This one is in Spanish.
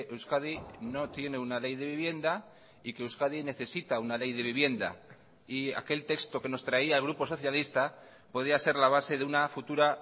euskadi no tiene una ley de vivienda y que euskadi necesita una ley de vivienda y aquel texto que nos traía el grupo socialista podía ser la base de una futura